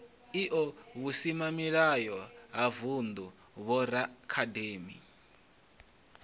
io vhusimamilayo ha vundu vhoraakademi